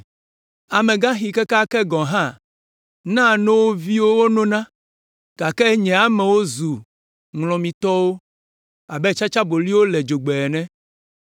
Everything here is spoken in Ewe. Amegaxiwo kekeake gɔ̃ hã naa no wo viwo wonona gake nye amewo va zu ŋlɔmitɔwo abe tsatsaboli le dzogbe ene.